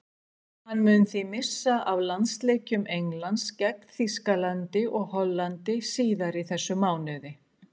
Hann mun því missa af landsleikjum Englands gegn Þýskalandi og Hollandi síðar í þessum mánuði.